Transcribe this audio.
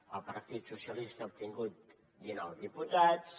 el partit socialista ha obtingut dinou diputats